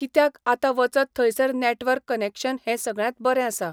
कित्याक आतां वचत थंयसर नेटवर्क कनेक्शन हें सगळ्यांत बरें आसा.